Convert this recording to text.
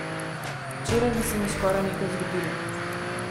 Včeraj bi se mi skoraj nekaj zgodilo.